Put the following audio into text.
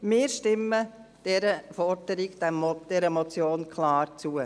Wir stimmen dieser Forderung, dieser Motion klar zu.